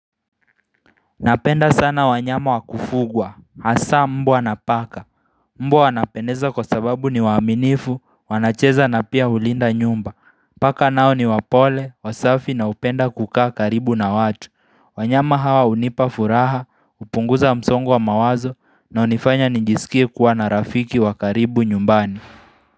Napenda sana wanyama wakufugwa, hasa mbwa na paka, mbwa wanapendeza kwa sababu ni waminifu, wanacheza na pia hulinda nyumba, paka nao ni wapole, wasafi na hupenda kukaa karibu na watu, wanyama hawa hunipa furaha, kupunguza msongo wa mawazo na hunifanya nijisikie kuwa na rafiki wa karibu nyumbani.